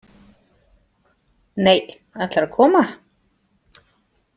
Nei, ætlarðu að koma?